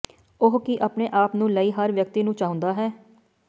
ਉਹ ਕੀ ਆਪਣੇ ਆਪ ਨੂੰ ਲਈ ਹਰ ਵਿਅਕਤੀ ਨੂੰ ਚਾਹੁੰਦਾ ਹੈ